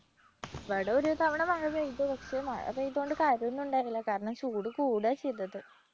ഇവിടെ ഒരുതവണ മഴ പെയ്തു പക്ഷേ മഴ പെയ്തു കൊണ്ട് കാര്യമൊന്നും ഉണ്ടായിരുന്നില്ല കാരണം ചൂട് കൂടുക ചെയ്തത്.